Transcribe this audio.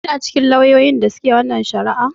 Kina cikin lauyoyin da su ke wannan shari'ar?